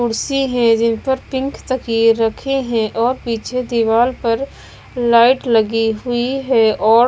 कुर्सी है जिन पर पिंक तकिए रखे हैं और पीछे दीवाल पर लाइट लगी हुई है और --